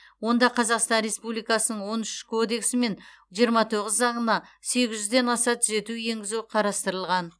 онда қазақстан республикасының он үш кодексі мен жиырма тоғыз заңына сегіз жүзден аса түзету енгізу қарастырылған